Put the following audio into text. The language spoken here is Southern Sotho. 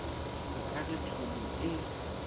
o ka re tshomo ee